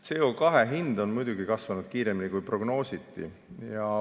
CO2 hind on muidugi kasvanud kiiremini, kui prognoositi.